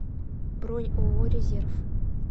бронь ооо резерв